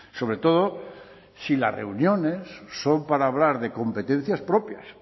sobre todo si las reuniones son para hablar de competencias propias